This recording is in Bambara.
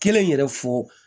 Kelen yɛrɛ fɔ